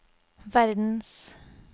verdens